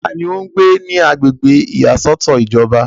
ta ni ó ń gbé ní agbègbè ìyàsọ́tọ̀ ìjọba?